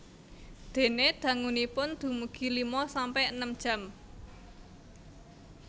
Dene dangunipun dumugi lima sampe enem jam